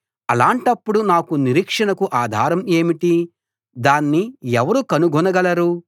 అలాంటప్పుడు నాకు నిరీక్షణకు ఆధారం ఏమిటి దాన్ని ఎవరు కనుగొనగలరు